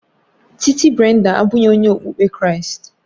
Titi Brenda abụghị onye okpukpe Kraịst